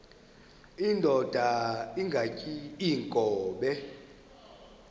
indod ingaty iinkobe